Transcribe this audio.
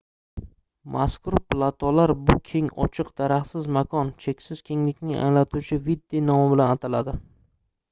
mazkur platolar bu keng ochiq daraxtsiz makon cheksiz kenglikni anglatuvchi vidde nomi bilan ataladi